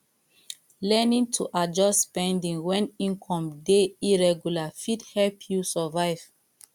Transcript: learning to adjust spending wen income dey irregular fit help you survive